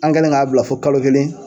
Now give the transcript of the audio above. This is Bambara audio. An kɛlen k'a bila fo kalo kelen.